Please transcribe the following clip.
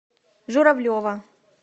журавлева